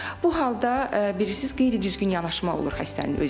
Bu halda bilirsiz, qeyri-düzgün yanaşma olur xəstənin özünə.